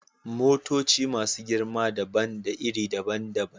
Motoci masu girma dabam da iri daban-daban.